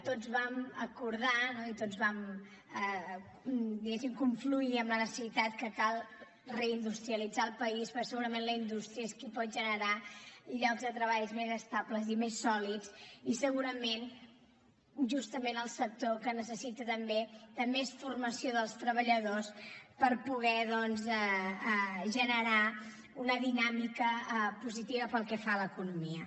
tots vam acordar no i tots vam diguéssim confluir en la necessitat que cal reindustrialitzar el país perquè segurament la indústria és qui pot generar llocs de treball més estables i més sòlids i segurament justament el sector que necessita també més formació dels treballadors per poder doncs generar una dinàmica positiva pel que fa a l’economia